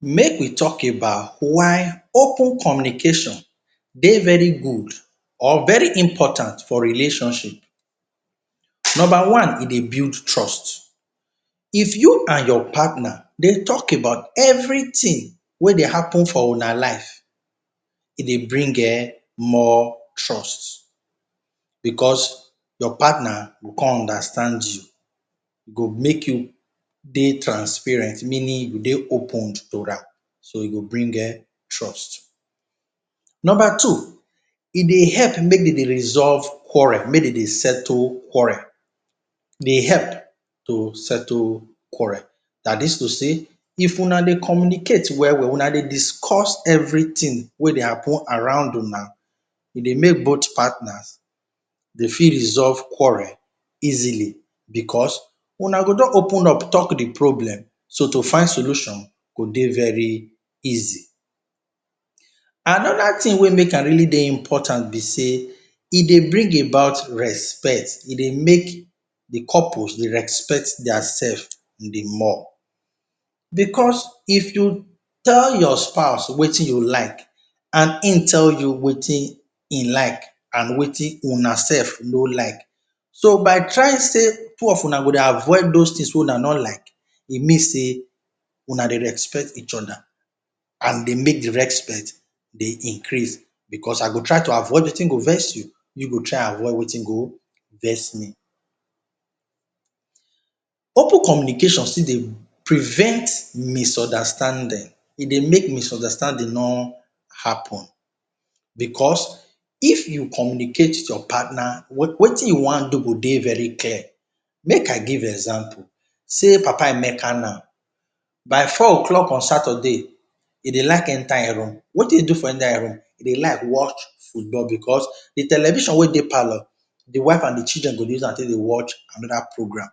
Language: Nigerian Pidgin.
Make we talk about why open communication dey very good or important for relationship. Number one e dey build trust, if you and your partner dey talk about everything wey dey happen for una life, e dey bring um more trust because your partner go con understand you, go make you dey transparent meaning you go dey opened to am, so e go bring um trust. Number two, e dey help make de dey resolve quarrel, make dem dey settle quarrel, e dey help to settle quarrel, dat is to say if una dey communicate well well, una dey discuss everything wey dey happen around una e dey make both partners dey fit resolve quarrel easily, because una go don open up talk de problem so to find solution go dey very easy. Another thing wey make am really dey important be sey e de bring about respect, e dey make de couples dey respect their self de more, because if you tell your spouse wetin you like and im tell you wetin im like and wetin una self nor like, so by trying sey two of una go dey avoid those things wey una nor like e mean sey una dey respect each other and e dey make de respect dey increase, because I go try avoid wetin go vex you you go try avoid wetin go vex me. Open communication still dey prevent misunderstanding, e dey make misunderstanding nor happen because if you communicate with your partner wetin you want do go dey very clear, make I give example sey papa Emeke now by four o’clock on Saturday he dey like enter im room, wetin he do for inside im room he dey like watch football because de television wey dey palour, de wife and de children go dey use am take dey watch another program.